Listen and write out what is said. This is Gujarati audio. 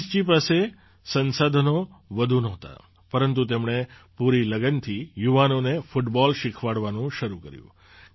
રઈસજી પાસે સંસાધનો વધુ નહોતાં પરંતુ તેમણે પૂરી લગનથી યુવાનોને ફૂટબૉલ શીખવાડવાનું શરૂ કર્યું